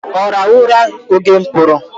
Ọ rahụru ụra oge mụ pụrụ?